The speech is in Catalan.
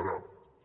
ara